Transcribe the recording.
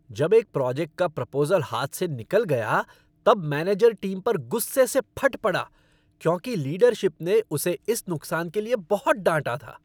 जब एक प्रोजेक्ट का प्रपोज़ल हाथ से निकल गया तब मैनेजर टीम पर गुस्से से फट पड़ा क्योंकि लीडरशिप ने उसे इस नुकसान के लिए बहुत डांटा था।